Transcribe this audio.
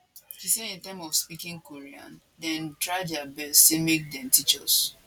she say in terms of speaking korean dem try dia best say make dem teach us